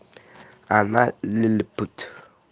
она лилипут